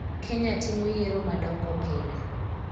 Kenya timo yiero madongo pile.